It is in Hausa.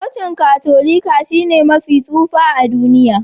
Cocin Katolika shine mafi tsufa a duniya